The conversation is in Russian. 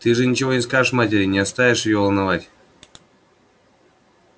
ты же ничего не скажешь матери не станешь её волновать